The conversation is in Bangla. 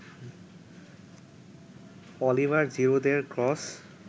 অলিভার জিরুদের ক্রস